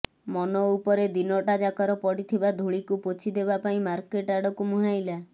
ମନ ଉପରେ ଦିନଟା ଯାକର ପଡ଼ିଥିବା ଧୂଳିକୁ ପୋଛି ଦେବା ପାଇଁ ମାର୍କେଟ୍ ଆଡ଼କୁ ମୁହାଁଇଲା